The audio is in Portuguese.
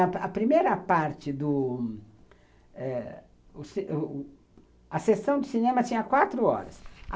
A primeira parte do eh... A sessão de cinema tinha quatro horas.